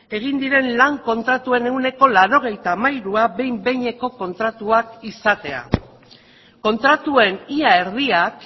egin diren lan kontratuen ehuneko laurogeita hamairua behin behineko kontratuak izatea kontratuen ia erdiak